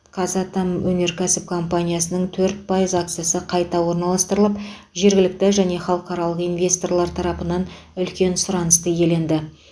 қазатомөнеркәсіп компаниясының төрт пайыз акциясы қайта орналастырылып жергілікті және халықаралық инвесторлар тарапынан үлкен сұранысты иеленді